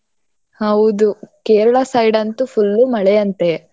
ಹೌದು ಕೇರಳ side ಅಂತೂ full ಉ ಮಳೆ ಅಂತೆ.